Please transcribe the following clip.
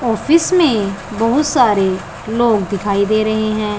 Office में बहुत सारे लोग दिखाई दे रहे हैं।